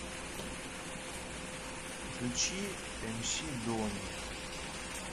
включи эмси дони